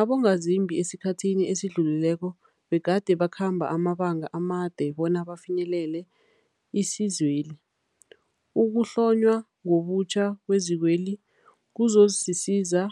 abongazimbi esikhathini esidlulileko begade bakhamba amabanga amade bona bafinyelele isizweli. Ukuhlonywa ngobutjha kwezikweli kuzokusiza